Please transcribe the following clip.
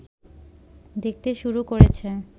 দেখতে শুরু করেছে